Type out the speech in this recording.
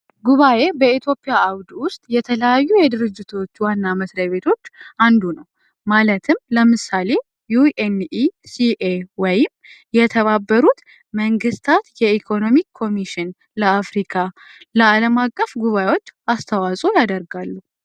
ጉባኤ በኢትዮጵያ አውድ ውስጥ የተለያዩ የድርጅቶች ዋና አመስግና ቤቶች አንዱ ነው ማለትም ለምሳሌ የተባበሩት መንግስታት የኢኮኖሚ ኮሚሽን ለአፍሪካ ለዓለም አቀፍ ጉባኤዎች አስተዋጾ ያደርጋሉ